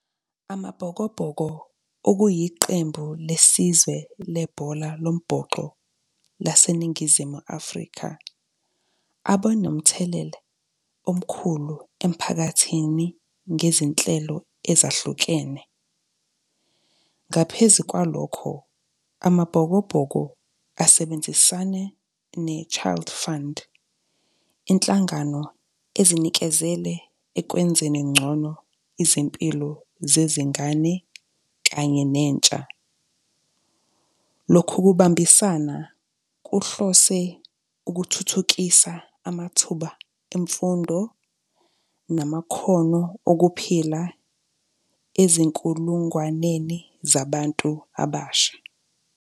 AmaBhokobhoko okuyiqembu lesizwe lebhola lombhoxo, laseNingizimu Afrika, abe nomthelela, omkhulu emphakathini ngezinhlelo ezahlukene. Ngaphezu kwalokho, amaBhokobhoko asebenzisane ne-Child Fund, inhlangano ezinikezele ekwenzeni ngcono izimpilo zezingane kanye nentsha. Lokhu kubambisana kuhlose ukuthuthukisa amathuba emfundo, namakhono okuphila ezinkulungwaneni zabantu abasha.